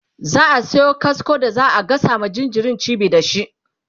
za'a Sayo kasko da za'a gasa ma jinjirin cibi da shi